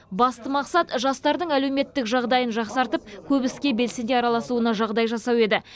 басты мақсат жастардың әлеуметтік жағдайын жақсартып көп іске белсене араласуына жағдай жасау еді